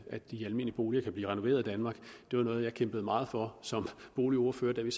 at de almindelige boliger kan blive renoveret i danmark det var noget jeg kæmpede meget for som boligordfører da vi